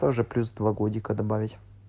тоже плюс два годика добавить